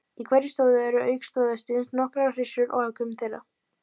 Í hverju stóði eru auk stóðhestsins nokkrar hryssur og afkvæmi þeirra.